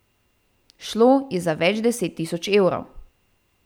Šlo je za več deset tisoč evrov.